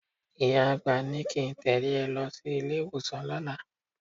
Ìyá àgbà ní kí n tẹ̀lé ẹ lọ sí ilé-ìwọ̀sàn lọ́la.